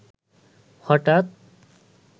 হঠাৎ